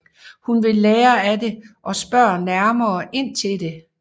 Hun vil lære af det og spørger nærmere ind til det